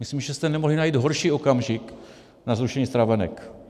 Myslím, že jste nemohli najít horší okamžik na zrušení stravenek.